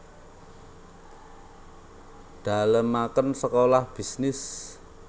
Dalemaken Sekolah Bisnis